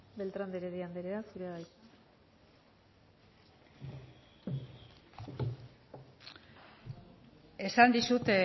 beltrán de heredia anderea zurea da hitza esan dizut